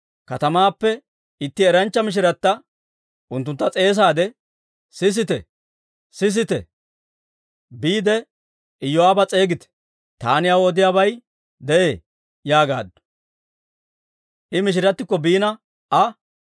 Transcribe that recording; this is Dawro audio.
katamaappe itti eranchcha mishirata unttuntta s'eesaade, «sisite! sisite! Biide, Iyoo'aaba s'eegite. Taani aw odiyaabay de'ee» yaagaaddu. I mishiratikko biina Aa,